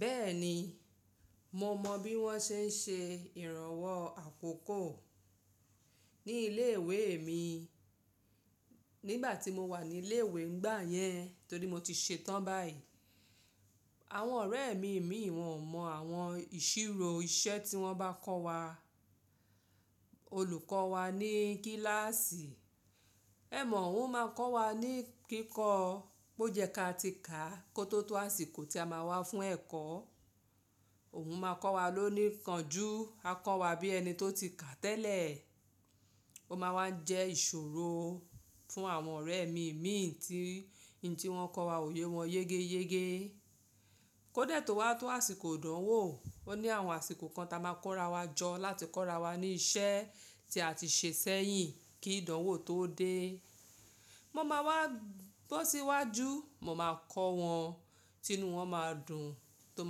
Bẹ́ẹ̀ni, mo mọ bí wọ́n ṣe ń ṣe ìrànwọ́ àkókò ní ilé ìwé mi nígbà tí mo wà ní ilé ìwé nígbà yẹn, torí mo ti ṣetán báyìí. Àwọn ọ̀rẹ́ mi míìn wọn ò mọ àwọn ìṣirò iṣẹ́ tí wọ́n bá kọ́ wa, olùkọ́ wa ní kíláàsì. Ẹ̀mọ̀ òun máa kọ́ wa ní kíkọ́, bó jẹ́ ká ti ká kó tó tó àsìkò tí a máa wá fún ẹ̀kọ́. Òun máa kọ́ wa lóníkánjú, a kọ́ wa bí ẹni tó ti kàá tẹ́lẹ̀. Ó máa wá ń jẹ́ ìṣòro fún àwọn ọ̀rẹ́ mi mìín tí in tí wọ́n kọ wa ò yé wọn yégéyégé. Kódà tó wá tó àsìkò ìdánwò, ó ní àwọn àsìkò kan ta máa kóra wa jọ láti kọ́ra wa ní iṣẹ́ tí a ti ṣe sẹ́yìn kí ìdánwò tó dé. Mo máa wá bọ́ síwájú, mo máa kọ́ wọn, tínúu wọn máa dùn tó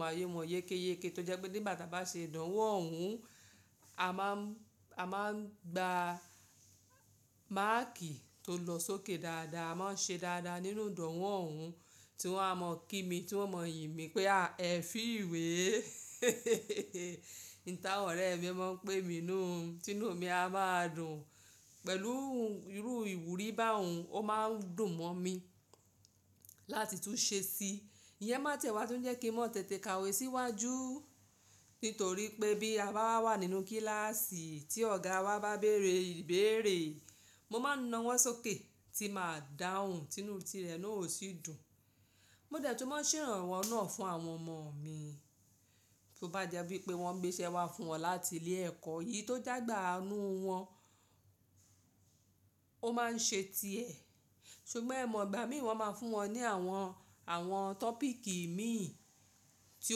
máa yé wọn yékéyéke tó jẹ́ pé nígbà ta bá ṣe ìdánwò òun, a máa ń gba máàkì tó lọ sókè dáadáa, wọ́n ṣe dáadáa nínú ìdánwò ọ̀hún tí wọ́n a mọ kí mi, tí wọ́n mọ yìnmí pé, ah! Ẹ fíìwé un t'àwọn ọ̀rẹ́ mi máa ń pè mí nùú, tínú mi a máa dùn pẹ̀lú irú ìwúrí báun ó máa ń dùn mọ́ mi láti tún ṣe sí i. Iyẹ́ má ń tiẹ̀ wá tó jẹ́ kí n máa tètè ka òwe síwájú nítorí pé bí a bá wà nínú kíláàsì tí ọ̀gá wa bá béèrè ìbéèrè, mo máa ń na'wọ́ sókè tí màá dáhùn tínú ti rẹ̀ náà ó sì dùn. Mo dẹ̀ tún máa ṣèrànwọ́ náà fún àwọn ọmọ mi. Bí ó bá jẹ́ wípé wọ́n gbéṣẹ́ wá fún wọn láti ilé ẹ̀kọ́ èyí tó j'ágbà inú wọn, ó máa ń ṣe ti ẹ̀. Ṣùgbọ́n ẹ̀ mọ̀ ìgbà míìn wọ́n máa fún wọn ní àwọn tọ́pìkì ìmíì tí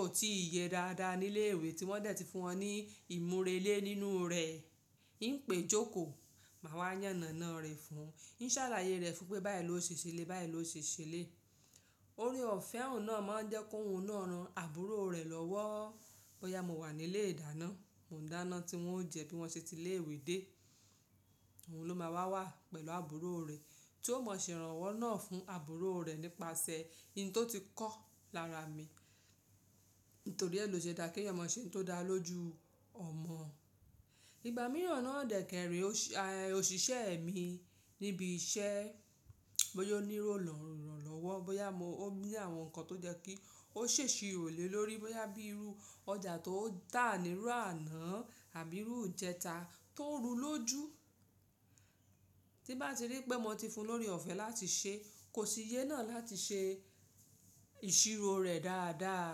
ò tí ì yẹ dáadáa ní ilé ìwé tí wọ́n dẹ̀ ti fún wọn ní ìmúrelé nínú rẹ̀. Pèé jókòó, màá wá yànnànán re fún, n sálàyée rẹ̀ fún pé báyìí ló ṣe ṣe eléyìí, báyìí lóó ṣe ṣe eléyìí. Ore ọ̀fẹ́ òun náà máa ń jẹ́ kóhun náà ran àbúrò rẹ̀ lọ́wọ́. Bóyá mo wà nílé ìdáná, mò ń dáná tí wọ́n ó jẹ bí wọ́n ṣe ti ilé ìwé dé. Òun ló máa wà wà pẹ̀lú àbúrò rẹ̀ tí ó mọ ìṣèrànwọ́ náà fún àbúrò rẹ̀ nípasẹ̀ ohun tó ti kọ́ lára mi. Nítorí ẹ ló ṣe dáa kí èèyàn mọ ṣé n tó dá lójú ọmọ. Igba mìíràn náà dẹ̀ kẹ́ rẹ̀ẹ́ òṣìṣẹ́ mi níbi iṣẹ́, bóyá ó ní lọ ìrànlọwọ. Bóyá mo, ó ní àwọn nǹkan tó jẹ́ kí ó ṣ'èsirò lé lórí, bóyá bí irú ọjà tó tà nírú àná àbí irú ìjẹta tó ro lójú. Tín bá ti rí pé mo ti fun lóre ọ̀fẹ́ láti ṣe, kò sì yé náà láti ṣe ìṣirò rẹ̀ dáadáa.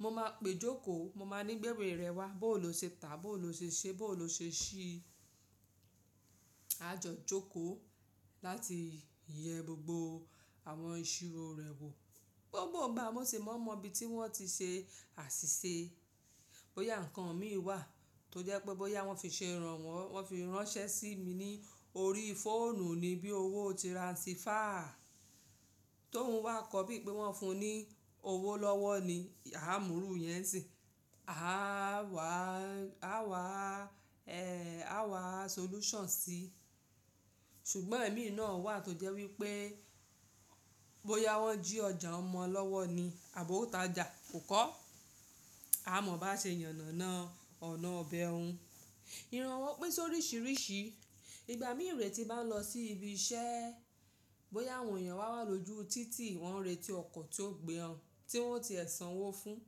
Mo máa pèé jókòó, mo máa ń ní gbé'wé rẹ wá, bóo ló ṣe tàá, bóo ló ṣe ṣé, bóo lo ṣe síi. Á jọ jókòó láti yẹ gbogbo àwọn ìṣirò rẹ̀ wò. Gbogbo ìgbà mo sì máa ń mọ ibi tí wọ́n ti ṣe àṣìṣe. Bóyá nǹkan míì wà tó jẹ́ pé bóyá wọ́n fi ṣe ìrànwọ́, wọ́n fi ránṣẹ́ sí mi ní orí fóònù ni bí owó tirasifáà Tóun wá kọ́ bí i pé wọ́n fún un ní owó lọ́wọ́ ni, aá mú irú ìyẹn sì, a wà, a wà, a wà solution sí. Ṣùgbọ́n èmi náà wà tó jẹ́ wípé bóyá wọ́n jí ọjà óhún mọ́ọ lọ́wọ́ ni àbí ó ta'jà kò kọọ́. Á mọ báa ṣe yànnàná ọ̀nà ibẹ̀ un. Ìrànwọ́ pín sóríṣìíríṣìí. Ìgbà míi rèé tí n bá lọ sí ibi iṣẹ́, bóyá àwọn èèyàn wá wà lójú títì, wọ́n ń retí ọkọ̀ tí ó gbé wọn, tí wọ́n ó ti ẹ sanwó fún.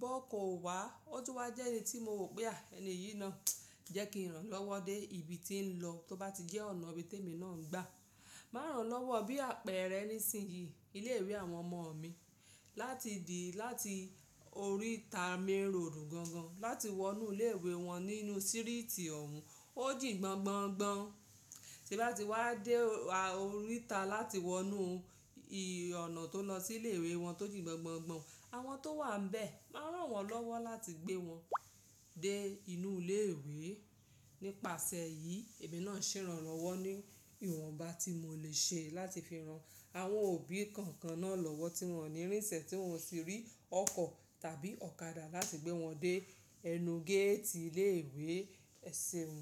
B'ọ́kan ò wá, ó tún wá jẹ́ ẹni tí mo wò pé, ah ẹni yìí náà, jẹ́ kí n rán lọ́wọ́ dé ibi tí ń lọ tó bá ti jẹ́ ọ̀nà ibi tí èmi náà ń gbà. Màá ràán lọ́wọ́ bí àpẹẹrẹ nísinsìnyí ilé ìwé àwọn ọmọ mi láti di láti oríta mainroad gan gan láti wọnú ilé ìwé wọn nínú sírìtì òun ó jìn gbongbongbọn. Tín bá ti wá dé oríta láti wọnúu ọ̀nà tó lọ sí ilé ìwé wọn tó jì gbongbongbọn, àwọn tó wà níbẹ̀ máa rán wọn lọ́wọ́ láti gbé wọn dé inú ilé ìwé. Nípasẹ̀ èyí, èmi náà ṣèrànwọ́ ní ìwọ̀n bá tí mò lè ṣe láti fi ran àwọn òbí kọ̀ọ̀kan náà lọ́wọ́ tí wọ́n òní ìrìnsẹ tí wọn ò sì rí ọkọ̀ tàbí ọ̀kadà láti gbé wọn dé ẹnu géètì ilé ìwé ẹ seun.